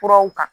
Kuraw ta